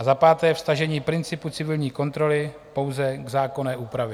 A za páté vztažení principu civilní kontroly pouze k zákonné úpravě.